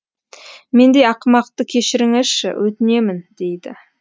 мендей ақымақты кешіріңізші өтінемін дейді